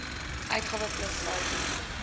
uitgawes plus saldo